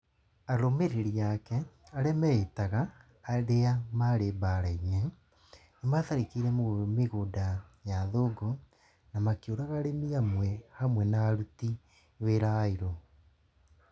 Arũmĩrĩri ake, arĩa meĩtaga "arĩa maarĩ mbaara-inĩ", nĩ maatharĩkĩire mĩgũnda ya athũngũ, na makĩũraga arĩmi amwe hamwe na aruti wĩra airũ.